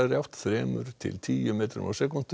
átt þrjú til tíu metrar á